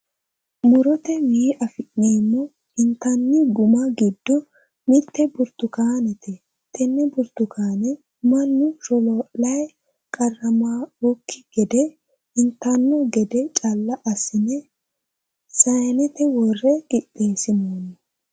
Murotewii afi'neemmo intanni gumma giddo mitte burtukaanete. Tenne burtukaane mannu sholoo'layi qarramawookki gede itanno gede calla assine sayiinete worre qixxeesinoyi.